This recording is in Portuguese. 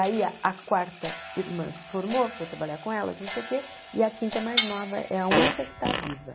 Aí a quarta irmã se formou, foi trabalhar com elas, não sei o quê, e a quinta é mais nova, é a única que está viva.